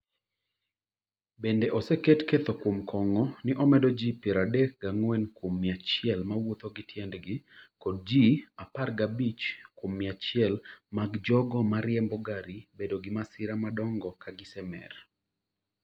Bende, oseketi ketho kuom kongo ni omedo ma ji piero adek gi ang'wen kuom mia achiel ma wuotho ​​gi tiendgi kod ji apar gi abich kuom mia achiel mag jogo ma riembo gari bedo gi masira madongo ka gisemer.